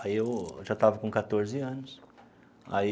Aí eu já estava com quatorze anos aí.